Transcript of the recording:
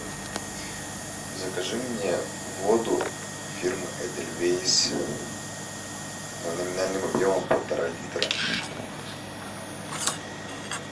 закажи мне воду фирмы эдельвейс номинальным объемом полтора литра